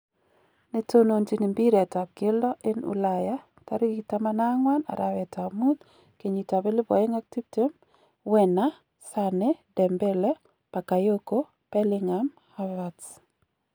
Neto nonjin mbiret ab keldo en Ulaya 14.05.2020:Werner, Sane, Dembele, Bakayoko Bellingham, Havertz.